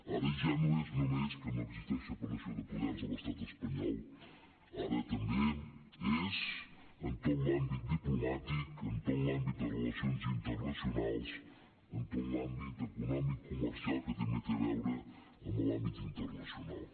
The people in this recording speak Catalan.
ara ja no és només que no existeix separació de poders a l’estat espanyol ara també és en tot l’àmbit diplomàtic en tot l’àmbit de relacions internacionals en tot l’àmbit econòmic comercial que també té a veure amb l’àmbit internacional